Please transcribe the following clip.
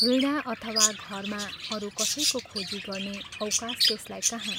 वीणा अथवा घरमा अरू कसैको खोजी गर्ने अवकाश त्यसलाई कहाँ।